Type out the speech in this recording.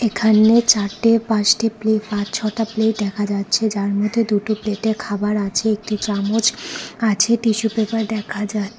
এখানে চারটে পাঁচটি প্লেট পাঁচ ছটা প্লেট দেখা যাচ্ছে যার মধ্যে দুটো প্লেটে খাবার আছে একটি চামচ আছে টিস্যু পেপার দেখা যা--